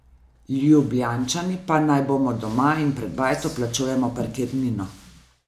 Ljubljančani pa naj bomo doma in pred bajto plačujemo parkirnino.